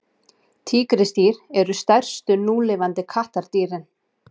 tígrisdýr eru stærstu núlifandi kattardýrin